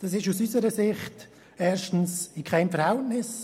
Das steht aus unserer Sicht erstens in keinem Verhältnis.